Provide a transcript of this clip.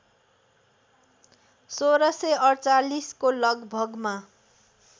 १६४८ को लगभगमा